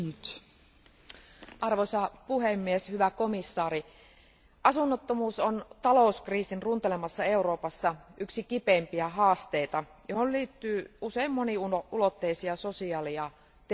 Arvoisa puhemies, hyvä komission jäsen, asunnottomuus on talouskriisin runtelemassa Euroopassa yksi kipeimpiä haasteita, ja siihen liittyy usein moniulotteisia sosiaali ja terveysongelmia.